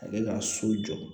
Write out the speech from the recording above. A bɛ ka so jɔ